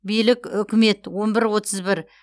билік үкімет он бір отыз бір